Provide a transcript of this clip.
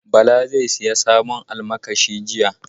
Bala zai sayi sabon almakashi jibi.